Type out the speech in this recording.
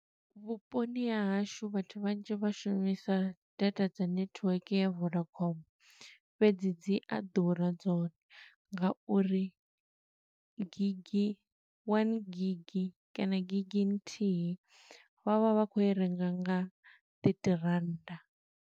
Vhuponi ha hashu vhathu vhanzhi vha shumisa data dza netiweke ya vodacom. Fhedzi dzi a ḓura dzone, nga uri gigi, one gig kana gigi nthihi vha vha vha khou i renga nga thirthy rannda.